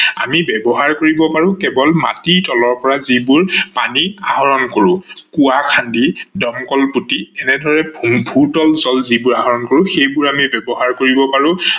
আমি ব্যৱহাৰ কৰিব পাৰো কেৱল মাটিৰ তলৰ পৰা যিবোৰ পানী আহৰন কৰো। কোৱা খান্দি, দমকল পুতি এনেদৰে ভূতল জল যিবোৰ আহৰন কৰো সেইবোৰ আমি ব্যৱহাৰ কৰিব পাৰো।